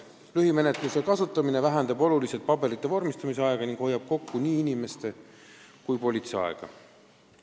Lühimenetluse kasutamine kiirendab oluliselt paberite vormistamist ning hoiab kokku nii politsei kui ka muude asjassepuutuvate inimeste aega.